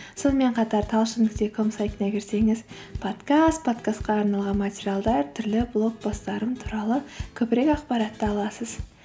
сонымен қатар талшын нүкте ком сайтына кірсеңіз подкаст подкастқа арналған материалдар түрлі блог посттарым туралы көбірек ақпаратты аласыз